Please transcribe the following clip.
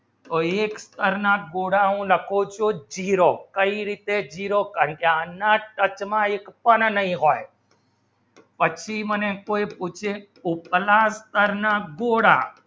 તો એક સ્તર ના ગોળા લખો શો zero કઈ રીતે zero પંચાણમાં ટક્કા માં એક પણ નહિ હોય પછી મને કોઈ પૂછે ઉતના સ્તર ના ગોળા